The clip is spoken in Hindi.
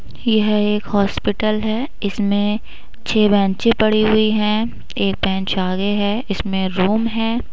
यह एक हॉस्पिटल है। इसमें छः बेंचे पड़ी हुई हैं। एक बेंच आगे हैं। इसमें रूम है।